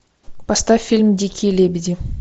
поставь фильм дикие лебеди